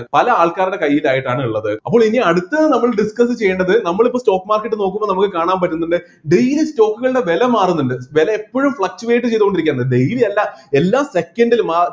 പല ആൾക്കാരുടെ കൈയിലായിട്ടാണ് ഇള്ളത് അപ്പോൾ ഇനി അടുത്തത് നമ്മൾ discuss ചെയ്യേണ്ടത് നമ്മള് ഇപ്പൊ stock market നോക്കുമ്പോ നമക്ക് കാണാൻ പറ്റുന്നുണ്ട് daily stock കളുടെ വില മാറുന്നുണ്ട് വില എപ്പോഴും fluctuate ചെയ്ത്കൊണ്ടിരിക്കുകയാണ് daily അല്ല എല്ലാ second ലും ആ